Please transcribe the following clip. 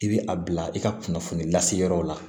I bɛ a bila i ka kunnafoni lase yɔrɔ la